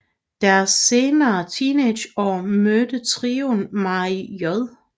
I deres sene teenageår mødte trioen Mary J